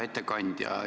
Härra ettekandja!